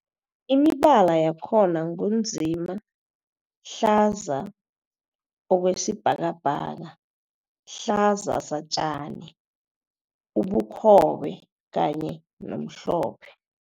Imibala yakhona ngu nzima, hlaza okwesibhakabhaka, hlaza satjani, ubukhobe kanye nomhlophe.